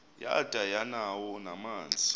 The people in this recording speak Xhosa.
yada yanawo namanzi